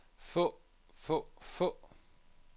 få få få